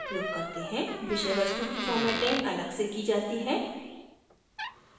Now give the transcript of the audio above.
विषय वस्तु की formatting अलग से की जाती है